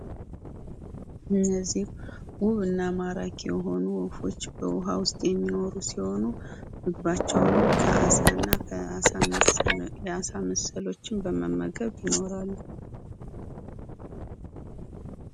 እነዚህ ውብና ማራኪ የሆኑ ወፎች በውሃ ውስጥ የሚኖሩ ሲሆኑ ምግባቸውንም ከአሳና አሳ መሰል ነገሮችን በመመገብ ይኖራሉ።